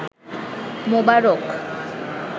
মোবারক